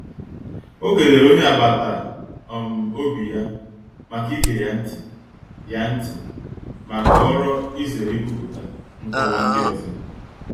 O kelere onye agbata um obi ya maka ige ya ntị, ya ntị, ma họọrọ izere ikwupụta nkọwa ndị ọzọ.